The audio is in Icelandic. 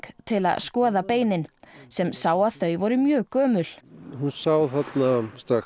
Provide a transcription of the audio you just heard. til að skoða beinin sem sá að þau voru mjög gömul hún sá strax